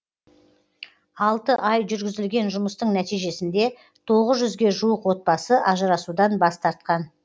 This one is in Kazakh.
алты ай жүргізілген жұмыстың нәтижесінде тоғыз жүзге жуық отбасы ажырасудан бас тартқан